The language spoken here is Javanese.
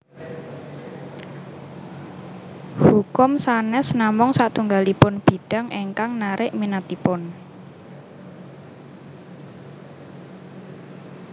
Hukum sanes namung satunggalipun bidang ingkang narik minatipun